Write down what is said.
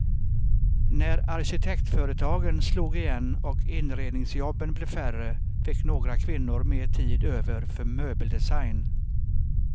När arkitektföretagen slog igen och inredningsjobben blev färre fick några kvinnor mer tid över för möbeldesign.